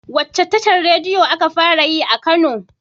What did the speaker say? Wacce tashar rediyo aka fara yi a jahar kano?